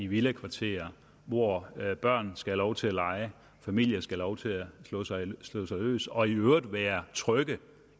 i villakvarterer hvor børn skal have lov til at lege og familier skal have lov til at slå sig løs slå sig løs og i øvrigt være trygge